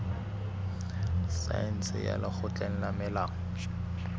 saense ya lekgotleng la molao